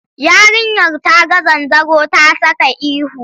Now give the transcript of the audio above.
Yarinyar ta ga zanzaro ta saka ihu.